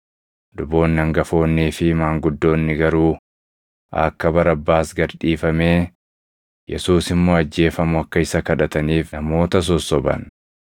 Luboonni hangafoonnii fi maanguddoonni garuu akka Barabbaas gad dhiifamee, Yesuus immoo ajjeefamu akka isa kadhataniif namoota sossoban.